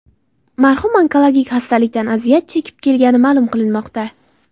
Marhum onkologik xastalikdan aziyat chekib kelgani ma’lum qilinmoqda.